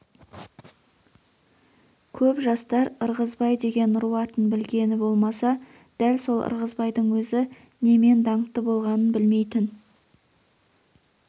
көп жастар ырғызбай деген ру атын білгені болмаса дәл сол ырғызбайдың өзі немен даңқты болғанын білмейтін